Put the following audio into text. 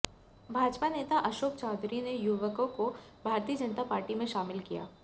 भाजपा नेता अशोक चौधरी ने युवकों को भारतीय जनता पार्टी में शामिल किया